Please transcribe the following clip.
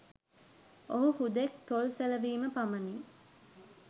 ඔහු හුදෙක් තොල් සෙලවීම පමණි.